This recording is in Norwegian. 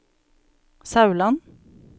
Sauland